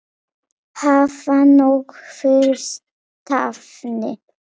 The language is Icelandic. Hafa nóg fyrir stafni.